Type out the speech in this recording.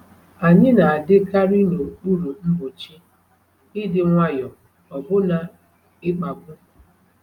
Anyị na-adịkarị n’okpuru mgbochi, ịdị nwayọ, ọbụna ịkpagbu.